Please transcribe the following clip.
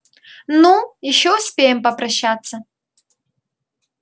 ну ещё успеем попрощаться